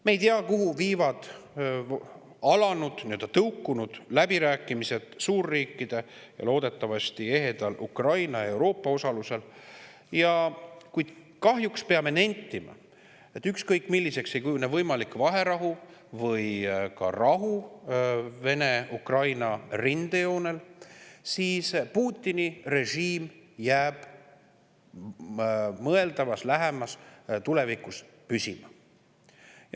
Me ei tea, kuhu viivad alanud, nii-öelda tõukunud läbirääkimised suurriikide vahel, loodetavasti ehedal Ukraina ja Euroopa osalusel, kuid kahjuks peame nentima, et ükskõik milliseks ei kujune võimalik vaherahu või ka rahu Vene ja Ukraina rindejoonel, siis Putini režiim jääb lähemas tulevikus püsima.